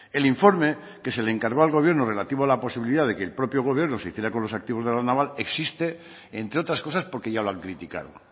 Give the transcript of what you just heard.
el informe que se le encargó al gobierno relativo a la posibilidad de que el propio gobierno se hiciera con los activos de la naval existe entre otras cosas porque ya lo han criticado